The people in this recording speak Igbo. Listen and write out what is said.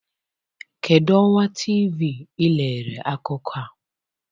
Kedu ọwa TV ị lere akụkọ a?